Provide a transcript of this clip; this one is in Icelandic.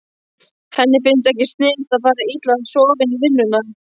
Henni finnst ekkert sniðugt að fara illa sofin í vinnuna.